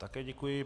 Také děkuji.